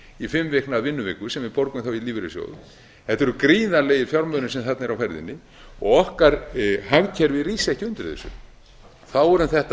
í fimm vikna vinnuviku sem við borgum þá í lífeyrissjóð þetta eru gríðarlegir fjármunir sem þarna eru á ferðinni og okkar hagkerfi rís ekki undir þessu þá er um þetta